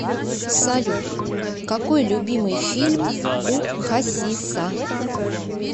салют какой любимый фильм у хасиса